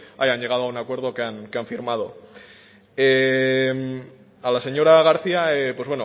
hayan llegado a un acuerdo que han firmado a la señora garcía pues